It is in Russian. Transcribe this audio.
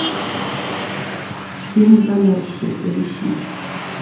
фильм замерзшие поищи